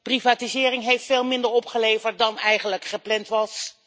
Privatisering heeft veel minder opgeleverd dan eigenlijk gepland was.